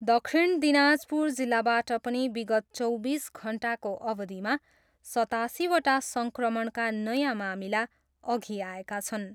दक्षिण दिनाजपुर जिल्लाबाट पनि विगत चौबिस घन्टाको अवधिमा सतासीवटा सङ्क्रमणका नयाँ मामिला अघि आएका छन्।